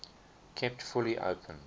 kept fully open